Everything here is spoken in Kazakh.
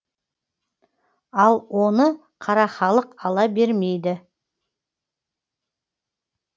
ал оны қара халық ала бермейді